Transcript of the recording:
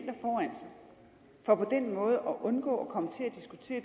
for på den måde at undgå at komme til at diskutere